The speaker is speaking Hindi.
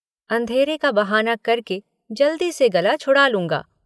अंधेरे का बहाना करके जल्दी से गला छूड़ा लूँगा।